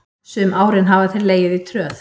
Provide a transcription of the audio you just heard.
Sum árin hafa þeir legið í tröð.